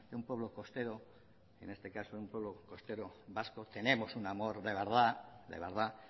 un pueblo costero en este caso de un pueblo costero vasco tenemos un amor de verdad